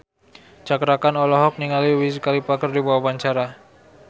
Cakra Khan olohok ningali Wiz Khalifa keur diwawancara